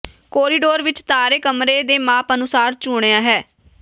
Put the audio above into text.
corridor ਵਿੱਚ ਤਾਰੇ ਕਮਰੇ ਦੇ ਮਾਪ ਅਨੁਸਾਰ ਚੁਣਿਆ ਹੈ